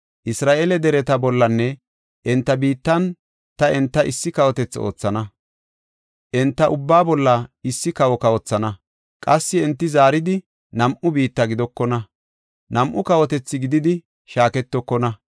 Isra7eele dereta bollanne enta biittan ta enta issi kawotethi oothana; enta ubbaa bolla issi kawo kawothana. Qassi enti zaaridi nam7u biitta gidokona; nam7u kawotethi gididi shaaketokona.